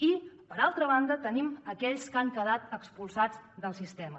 i per altra banda tenim aquells que han quedat expulsats del sistema